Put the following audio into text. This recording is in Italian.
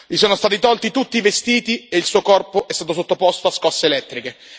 Gli sono stati tolti tutti i vestiti e il suo corpo è stato sottoposto a scosse elettriche